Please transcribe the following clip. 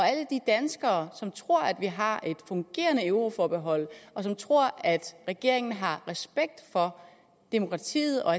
alle de danskere som tror at vi har et fungerende euroforbehold og som tror at regeringen har respekt for demokratiet og